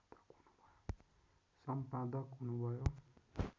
सम्पादक हुनु भयो